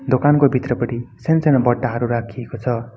दोकानको भित्रपटि सानसानो बटाहरु राखिएको छ।